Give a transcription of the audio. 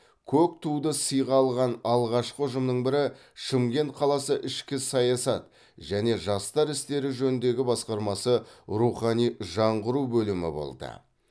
көк туды сыйға алған алғашқы ұжымның бірі шымкент қаласы ішкі саясат және жастар істері жөніндегі басқармасы рухани жаңғыру бөлімі болды